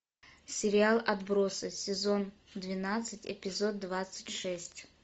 сериал отбросы сезон двенадцать эпизод двадцать шесть